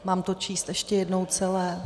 Mám to číst ještě jednou celé?